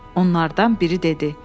Onlardan biri dedi: